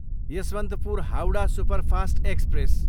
Yesvantpur, Howrah superfast express